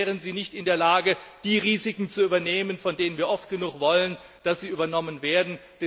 Ansonsten wären sie nicht in der Lage, die Risiken zu übernehmen, von denen wir oft genug wollen, dass sie übernommen werden.